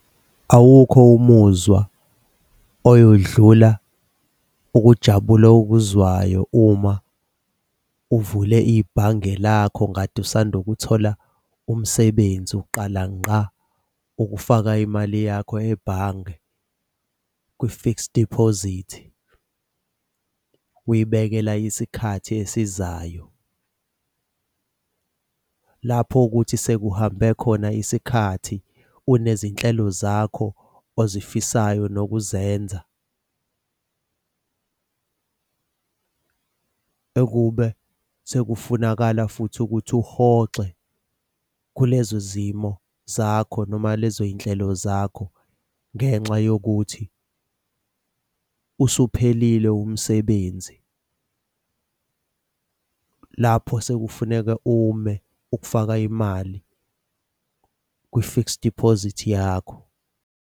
Awukho umuzwa oyodlula ukujabula okuzwayo uma uvule ibhange lakho kade usanda ukuthola umsebenzi uqala ngqa ukufaka imali yakho ebhange kwi-fixed deposit, uyibekela isikhathi esizayo. Lapho okuthi sekuhambe khona isikhathi unezinhlelo zakho ozifisayo nokuzenzela okube sekufunakala futhi ukuthi uhoxe kulezo zimo zakho noma lezo y'nhlelo zakho ngenxa yokuthi usuphelile umsebenzi. Lapho sekufuneka ume ukufaka imali kwi-fixed deposit yakho.